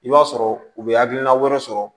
I b'a sɔrɔ u bɛ hakilina wɛrɛ sɔrɔ